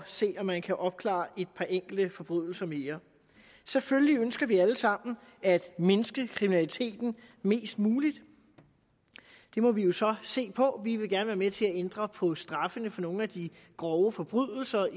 se om man kan opklare et par enkelte forbrydelser mere selvfølgelig ønsker vi alle sammen at mindske kriminaliteten mest muligt det må vi jo så se på vi vil gerne være med til at ændre på straffene i for nogle af de grove forbrydelser